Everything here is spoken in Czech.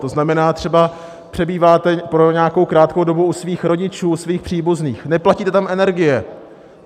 To znamená, třeba přebýváte po nějakou krátkou dobu u svých rodičů, u svých příbuzných, neplatíte tam energie.